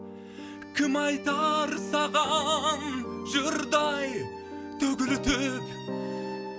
кім айтар саған жырдай төгілтіп